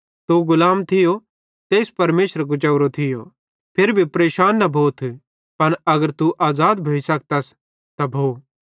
तू गुलाम थियो ज़ेइस परमेशरे कुजावरो थियो फिरी भी परेशान न भोथ पन अगर तू आज़ाद भोइ सकतस त भो